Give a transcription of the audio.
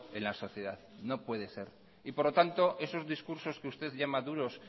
en la sociedad no puede ser por lo tanto esos discursos que usted llama duros